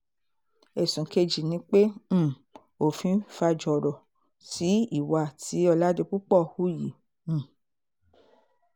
ẹ̀sùn kejì ni pé um òfin faújọrọ sí ìwà tí oládìpúpọ̀ hù yìí um